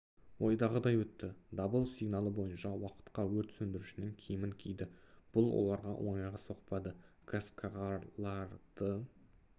ойдағыдай өтті дабыл сигналы бойынша уақытқа өрт сөндірушінің киімін киді бұл оларға оңайға соқпады газқағарларды